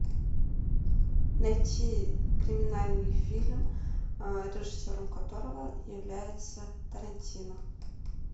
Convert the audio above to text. найти криминальный фильм режиссером которого является тарантино